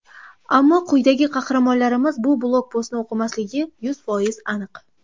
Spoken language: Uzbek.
Ammo quyidagi qahramonlarimiz bu blogpostni o‘qimasligi yuz foiz aniq.